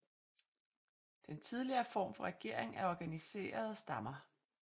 Den tidligere form for regering er organiserede stammer